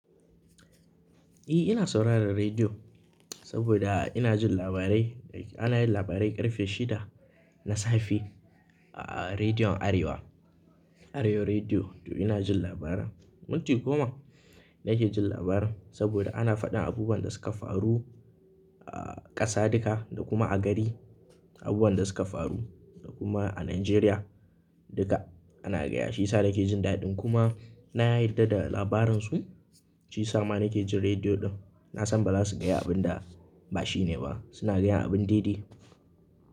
Eh, ina sauraren rediyo saboda ina jin labarai da ita. Ana yin labarai ƙarfe shida na safe a Rediyon Arewa, Arewa Rediyo. To ina jin labaran. Minti goma ne ke jin labaran saboda ana faɗin abubuwan da suka faru a ƙasa duka da kuma a gari, abubuwan da suka faru da kuma a Najeriya duka ana gaya shi. Sai yasa nake jin daɗi kuma na yarda da labaran su. Shi yasa ma nake jin rediyo ɗin. Nasan ba zasu gaya abun da ba shine ba. Su na gaya abin daidai.